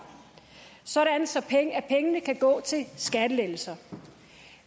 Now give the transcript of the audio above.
sådan sådan at pengene kan gå til skattelettelser